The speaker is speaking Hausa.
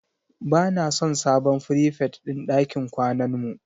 Ba na son sabon frifet din ɗakin kwanan mu